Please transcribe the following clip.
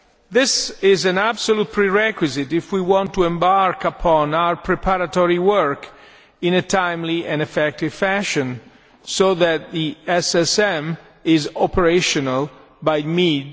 This is an absolute prerequisite if we want to embark upon our preparatory work in a timely and effective fashion, so that the SSM is operational by mid